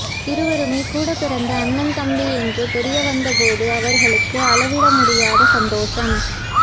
இருவருமே கூடப் பிறந்த அண்ணன் தம்பி என்று தெரிய வந்தபோது அவர்களுக்கு அளவிட முடியாத சந்தோஷம்